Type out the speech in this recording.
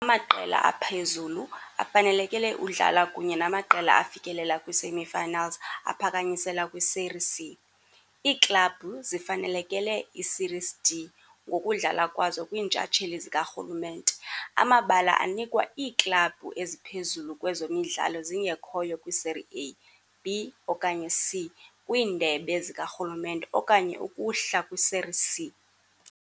Amaqela aphezulu afanelekele udlala kunye namaqela afikelela kwi-semi-finals aphakanyiselwe kwi-Série C. Iiklabhu zifanelekele iSéries D ngokudlala kwazo kwiintshatsheli zikarhulumente - amabala anikwa iiklabhu eziphezulu kwezo midlalo zingekhoyo kwi-Série A, B okanye C- kwiindebe zikarhulumente okanye ukuhla kwi-Série C.